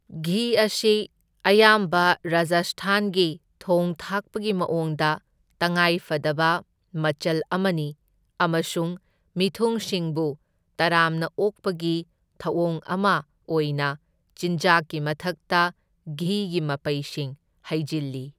ꯘꯤ ꯑꯁꯤ ꯑꯌꯥꯝꯕ ꯔꯥꯖꯁꯊꯥꯟꯒꯤ ꯊꯣꯡ ꯊꯥꯛꯄꯒꯤ ꯃꯑꯣꯡꯗ ꯇꯉꯥꯏ ꯐꯗꯕ ꯃꯆꯜ ꯑꯃꯅꯤ ꯑꯃꯁꯨꯡ ꯃꯤꯊꯨꯡꯁꯤꯡꯕꯨ ꯇꯔꯥꯝꯅ ꯑꯣꯛꯄꯒꯤ ꯊꯧꯑꯣꯡ ꯑꯃ ꯑꯣꯏꯅ ꯆꯤꯟꯖꯥꯛꯀꯤ ꯃꯊꯛꯇ ꯘꯤꯒꯤ ꯃꯄꯩꯁꯤꯡ ꯍꯩꯖꯤꯜꯂꯤ꯫